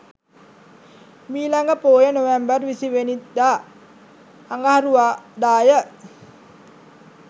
මීළඟ පෝය නොවැම්බර් 20 වැනි දා අඟහරුවාදාය.